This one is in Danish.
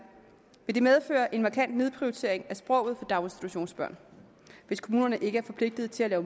vil det medføre en markant nedprioritering af sproget daginstitutionsbørn hvis kommunerne ikke er forpligtet til at